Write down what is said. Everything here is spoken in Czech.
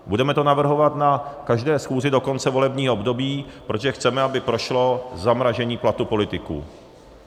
Budeme to navrhovat na každé schůzi do konce volebního období, protože chceme, aby prošlo zamrazení platů politiků.